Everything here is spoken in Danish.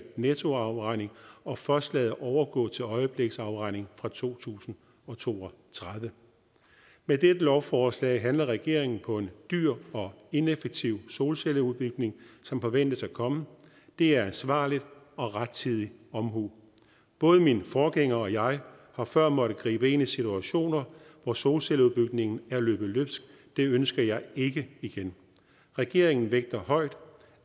nettoafregning og først lader overgå til øjebliksafregning fra to tusind og to og tredive med dette lovforslag handler regeringen på en dyr og ineffektiv solcelleudbygning som forventes at komme det er ansvarligt og rettidig omhu både min forgænger og jeg har før måttet gribe ind i situationer hvor solcelleudbygningen er løbet løbsk det ønsker jeg ikke igen regeringen vægter højt